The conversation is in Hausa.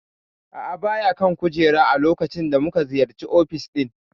A'a baya kan kujerar a lokacin da muka ziyarci ofis ɗin.